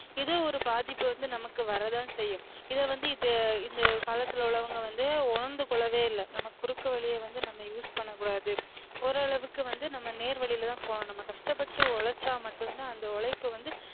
இதே ஒரு பாதிப்பு வந்து நமக்கு வர தான் செய்யும் இத வந்து இத இந்த காலத்துல உள்ளவுங்க வந்து உணர்ந்துகொள்ளவே இல்ல நம்ம குறுக்கு வழிய வந்து நம்ம use பண்ணகூடாது ஒரளவுக்கு வந்து நம்ம நேர் வழிலதான் போகனும் நம்ம கஷ்டபட்டு உழைச்சா மட்டும் தான் அந்த உழைப்பு வந்து